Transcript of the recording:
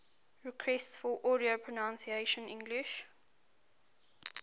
requests for audio pronunciation english